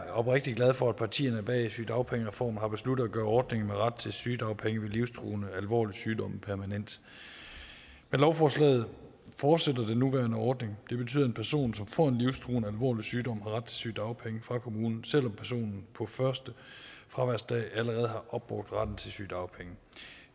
er oprigtig glad for at partierne bag sygedagpengereformen har besluttet at gøre ordningen med ret til sygedagpenge ved livstruende alvorlig sygdom permanent med lovforslaget fortsætter den nuværende ordning det betyder at en person som får en livstruende alvorlig sygdom sygedagpenge fra kommunen selv om personen på første fraværsdag allerede har opbrugt retten til sygedagpenge